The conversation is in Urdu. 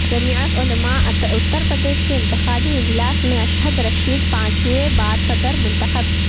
جمعیت علماء اترپردیش کے انتخابی اجلاس میں اشھد رشیدی پانچویں بار صدر منتخب